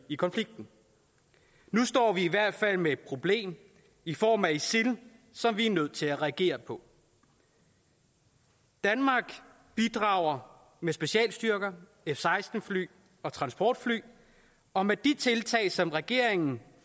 i konflikten nu står vi i hvert fald med et problem i form af isil som vi er nødt til at reagere på danmark bidrager med specialstyrker f seksten fly og transportfly og med de tiltag som regeringen